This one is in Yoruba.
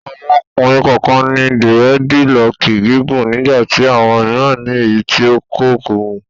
Àwọn ọkùnrin kọ̀ọ̀kan ní dírẹ́dilọọkì gígùn nígbà tí àwọn mìíràn ní èyí tí kò gùn.